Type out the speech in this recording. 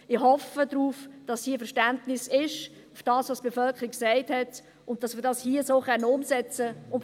Ich hoffe darauf, dass hier Verständnis dafür vorhanden ist, was die Bevölkerung gesagt hat, und dass wir das hier so umsetzen können.